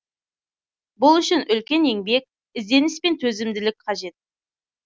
бұл үшін үлкен еңбек ізденіс пен төзімділік қажет